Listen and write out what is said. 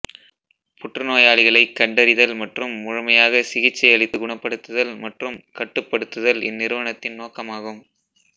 புற்றுநோயாளிகளைக் கண்டறிதல் மற்றும் முழுமையாகச் சிகிச்சை அளித்து குணப்படுத்துதல் மற்றும் கட்டுப்படுத்துதால் இந்நிறுவனத்தின் நோக்கமாகும்